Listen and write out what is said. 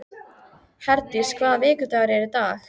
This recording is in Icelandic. Herdís, hvaða vikudagur er í dag?